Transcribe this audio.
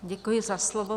Děkuji za slovo.